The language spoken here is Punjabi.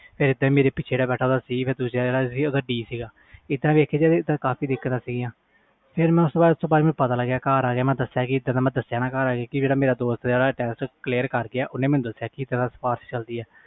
ਇਹਦਾ ਮੇਰੇ ਪਿੱਛੇ ਜਿਹੜਾ ਬੈਠਾ ਓਹਦਾ C ਫਿਰ D ਸੀ ਇਹਦਾ ਦੀਖਿਆ ਜਾਵੇ ਕਾਫੀ ਦਿਕਤ ਸੀ ਫਿਰ ਮੈਂ ਘਰ ਆ ਕੇ ਦਸਿਆ ਨਹੀਂ ਕਿ ਸਿਪਰਿਸ ਚਲਦੀ ਆ